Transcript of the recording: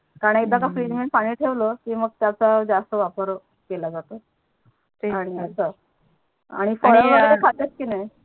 का णा एकदा की नाही फ्रीज मध्ये पानी ठेवल मग त्याच्या जास्त वापर केला जातो आणि अच्छा आणि वगेरे खाते की नाही आणि हा